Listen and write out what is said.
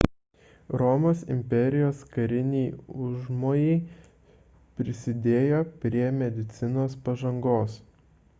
romos imperijos kariniai užmojai prisidėjo prie medicinos pažangos